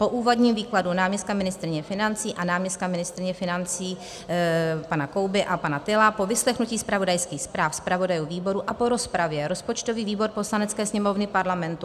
Po úvodním výkladu náměstka ministryně financí a náměstka ministryně financí pana Kouby a pana Tyla, po vyslechnutí zpravodajských zpráv zpravodajů výborů a po rozpravě rozpočtový výbor Poslanecké sněmovny Parlamentu